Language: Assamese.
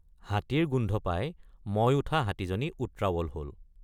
হাতীৰ গোন্ধ পাই মই উঠা হাতীজনী উত্ৰাৱল হল।